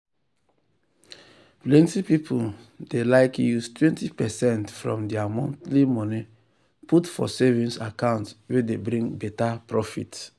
plenty people dey wise use 20 percent from their monthly money put for savings account wey dey bring better profit.